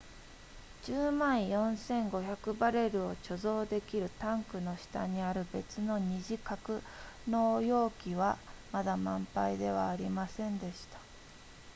10万4500バレルを貯蔵できるタンクの下にある別の二次格納容器はまだ満杯ではありませんでした